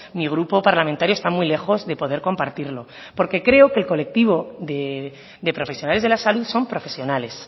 mi grupo parlamentario está muy lejos de poder compartirlo porque creo que el colectivo de profesionales de la salud son profesionales